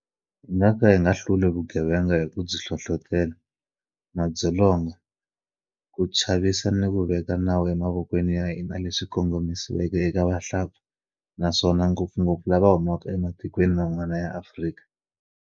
Hi nga ka hi nga hluli vugevenga hi ku byi hlohlotela, madzolonga, ku chavisa ni ku veka nawu emavokweni ya hina leswi kongomisiweke eka vahlampfa, naswona ngopfungopfu lava humaka ematikweni man'wana ya Afrika.